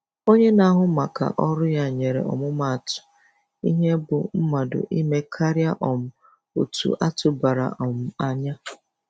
Onye na-ahụ maka ọrụ ya nyere ọmụmatụ ihe bụ mmadụ ime karịa um otu atụbara um anya.